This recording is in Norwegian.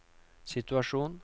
situasjon